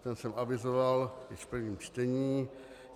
Ten jsem avizoval již v prvním čtení.